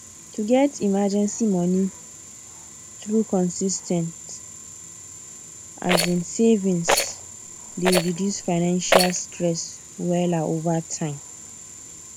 to get emergency money through consis ten t um savings dey reduce financial stress wella over time